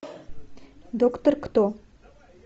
доктор кто